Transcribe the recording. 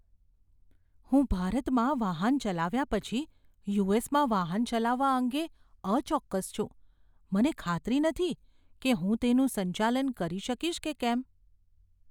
હું ભારતમાં વાહન ચલાવ્યા પછી યુ.એસ.માં વાહન ચલાવવા અંગે અચોક્કસ છું. મને ખાતરી નથી કે હું તેનું સંચાલન કરી શકીશ કે કેમ.